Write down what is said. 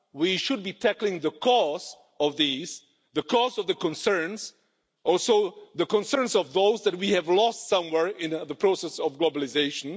We should be tackling the cause of these, the cause of the concerns and also the concerns of those that we have lost somewhere in the process of globalisation.